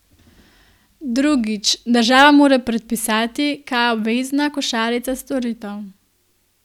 Drugič, država mora predpisati, kaj je obvezna košarica storitev.